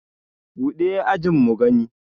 buɗe ajin mu gani!